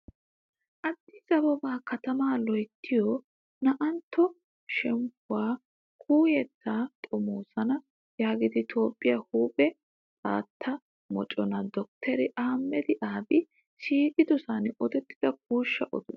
Aaddis ababaa katamaa loyittiyoo na''antto shemppuwaa kuuyettaa xomoosana yiida toophphiyaa huuphe xaatta moconaa dottoriy aahimeda aabiyi shiiqidosan odettida kuushsha oduwaa.